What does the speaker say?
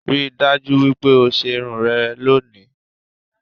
Rí i dájú wípé o ṣe irun rẹ lónìí